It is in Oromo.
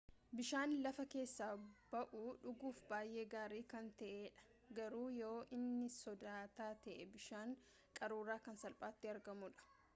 bishaan lafa keessa ba'uu dhuguuf baayee gaarii kan ta'ee dha garuu yoo nii sodaata ta'e bishaan qaruuraa kan salphaatti argamu dha